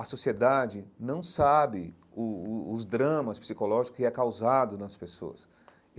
A sociedade não sabe o o os dramas psicológicos que é causado nas pessoas.